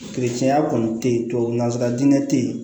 tiɲɛya kɔni tɛ ye tubabu nanzsara dingɛ tɛ yen